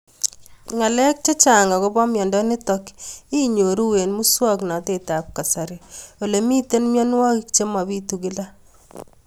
Ng'alek chechang' akopo miondo nitok inyoru eng' muswog'natet ab kasari ole mito mianwek che mapitu kila